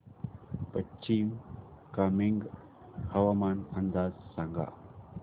पश्चिम कामेंग हवामान अंदाज सांगा